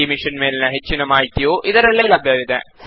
ಈ ಮಿಶನ್ ಮೇಲಿನ ಹೆಚ್ಚಿನ ಮಾಹಿತಿಯು ಇದರಲ್ಲಿ ಲಭ್ಯವಿದೆ